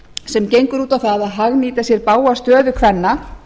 sem gengur út á að hagnýta sér bága stöðu kvenna